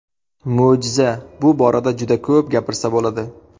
Mo‘jiza Bu borada juda ko‘p gapirsa bo‘ladi.